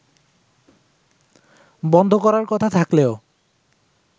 বন্ধ করার কথা থাকলেও